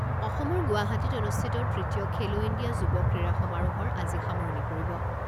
অসমৰ গুৱাহাটীত অনুষ্ঠিত তৃতীয় খেলো ইণ্ডিয়া যুৱ ক্ৰীড়া সমাৰোহৰ আজি সামৰণি পৰিব।